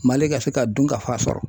MALI ka se ka dunkafa sɔrɔ.